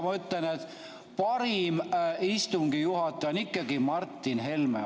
Ma ütlen, et parim istungi juhataja on ikkagi Martin Helme.